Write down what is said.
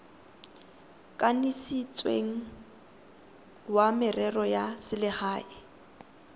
kanisitsweng wa merero ya selegae